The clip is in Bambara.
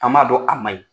An m'a dɔn a man ɲi